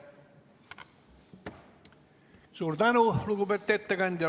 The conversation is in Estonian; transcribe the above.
Suur tänu, lugupeetud ettekandja!